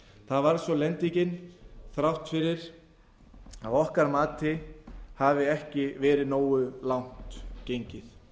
varð svo lendingin þrátt fyrir að að okkar mati hafi ekki verið nógu langt gengið